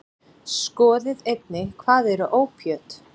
Skoðið einnig: Hvað eru ópíöt?